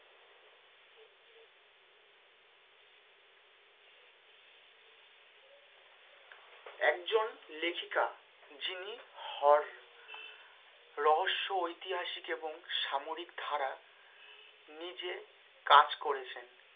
একজন লেখিকা যিনি হর~ রহস্য ঐতিহাসিক এবং সাময়িক ধারা নিজে কাজ করেছেন।